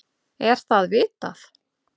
Er það vitað?